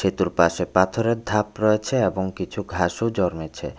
পাশে পাথরের ধাপ রয়েছে এবং কিছু ঘাসও জন্মেছে।